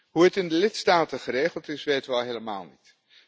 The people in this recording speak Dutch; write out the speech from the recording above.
Hoe het in de lidstaten geregeld is, weten we al helemaal niet.